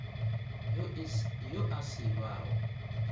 yo a se ba go